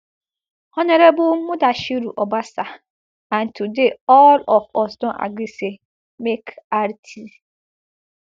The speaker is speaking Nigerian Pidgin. honourable mudashiru obasa and today all of us don agree say make rt